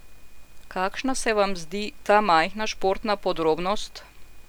Kakšna se vam zdi ta majhna športna podrobnost?